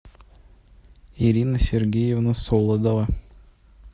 ирина сергеевна солодова